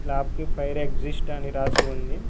Slab కి fire exist అని రాసి ఉంది.